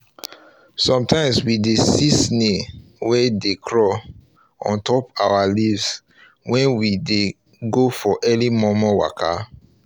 sometimes we dey see snail wey dey crawl um ontop our um leaves when we dey go for our early um momo waka